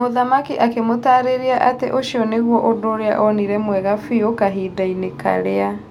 mũthamaki akĩmũtararia atĩ ũcio nĩgwo ũndũ onire mwega fiũ kahindainĩ karĩa.